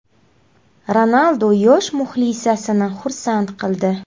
Ronaldu yosh muxlisasini xursand qildi .